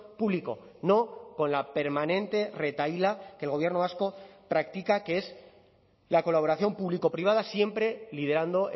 público no con la permanente retahíla que el gobierno vasco practica que es la colaboración público privada siempre liderando